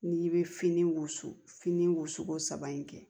N'i bɛ fini wusu fini wusuko saba in kɛ